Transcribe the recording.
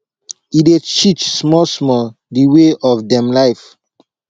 e dey teach small small de way of dem life